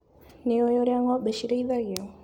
Nĩũĩ ũrĩa ng'ombe cirĩithagio.